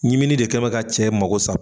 Ɲimini de kɛnbɛ ka cɛ mago sa.